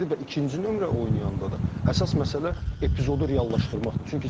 və ikinci nömrə oynayanda da əsas məsələ epizodu reallaşdırmaqdır.